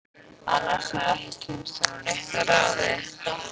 Annars hef ég ekki kynnst honum neitt að ráði.